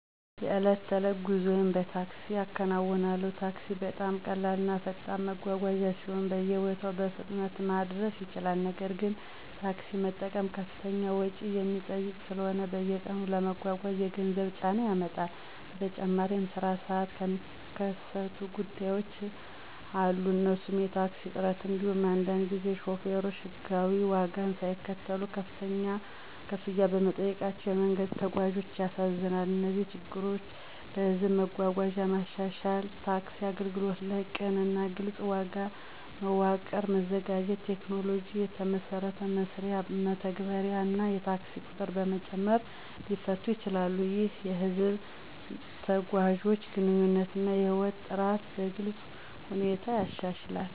የዕለት ተዕለት ጉዞዬን በታክሲ እከናዉናለሁ። ታክሲ በጣም ቀላል እና ፈጣን መጓጓዣ ሲሆን በየቦታው በፍጥነት ማድረስ ይችላል። ነገር ግን፣ ታክሲ መጠቀም ከፍተኛ ወጪ የሚጠይቅ ስለሆነ በየቀኑ ለመጓጓዝ የገንዘብ ጫና ያመጣል። በተጨማሪም በስራ ሰዓት የሚከሰቱ ጉዳዮች አሉ እነሱም የታክሲ እጥረት እንዲሁም አንዳንድ ጊዜ ሾፌሮች የሕጋዊ ዋጋን ሳይከተሉ ከፍተኛ ክፍያ መጠየቃቸው የመንገድ ተጓዞችን ያሳዝናል። እነዚህ ችግሮች በህዝብ መጓጓዣ ማሻሻል፣ ታክሲ አገልግሎት ላይ ቅን እና ግልፅ ዋጋ መዋቀር በማዘጋጀት፣ ቴክኖሎጂን የተመሰረተ መስሪያ መተግበር እና የታክሲ ቁጥር በመጨመር ሊፈቱ ይችላሉ። ይህም የህዝብ ተጓዦችን ግንኙነት እና ህይወት ጥራት በግልጽ ሁኔታ ያሻሽላል።